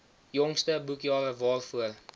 jongste boekjare waarvoor